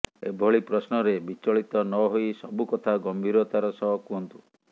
ଏଭଳି ପ୍ରଶ୍ନରେ ବିଚଳିତ ନହୋଇ ସବୁ କଥା ଗମ୍ଭୀରତାର ସହ କୁହନ୍ତୁ